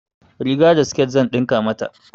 Riga da sket zan ɗinka mata.